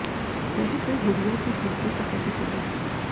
रह गए गुडिय़ा के जूते फटे के फटे